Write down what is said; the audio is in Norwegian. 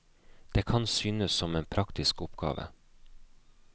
Det kan synes som en praktisk oppgave.